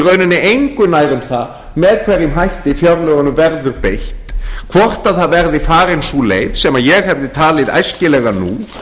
rauninni engu nær um að með hverjum hætti fjárlögunum verður beitt hvort það verði farin sú leið sem ég hefði talið æskilega nú